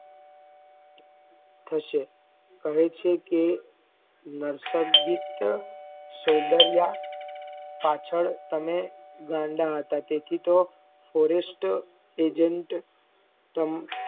થશે કહે છે કે નાર્સધીત્યા સોઉંન્દર્ય પાછળ તમે ગાંડા હતા તેથી તોહ forester agent